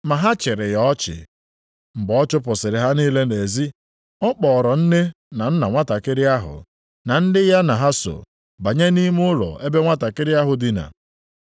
Ma ha chịrị ya ọchị. Mgbe ọ chụpụsịrị ha niile nʼezi, ọ kpọọrọ nne na nna nwantakịrị ahụ, na ndị ya na ha so, banye nʼime ụlọ ebe nwantakịrị ahụ dina.